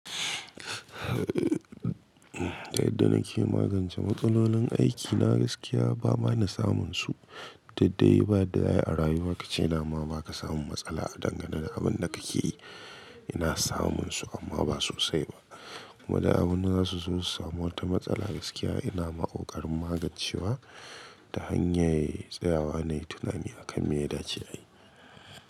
Da yadda nake magance matsalolin aikina. Gaskiya ba mana samun su, daɗaɗai ba danye a rayuwa kace nama baka samu matsala a dangane da abin da kake yi. Ina samun su amma ba sosai ba kuma da abun da zasu zo su samu wata matsala gaskiya ina makokarin magancewa ta hanyar tsayawa ne da tunani akan me ya dace a yi.